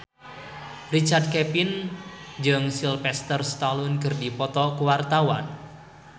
Richard Kevin jeung Sylvester Stallone keur dipoto ku wartawan